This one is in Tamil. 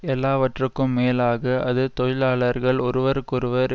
எல்லாவற்றுக்கும் மேலாக அது தொழிலாளர்கள் ஒருவருக்கொருவர்